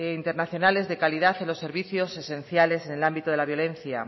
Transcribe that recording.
internacionales de calidad en los servicios esenciales en el ámbito de la violencia